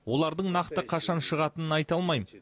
олардың нақты қашан шығатынын айта алмаймын